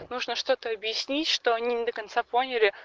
нужно что-то объяснить что они не до конца поняли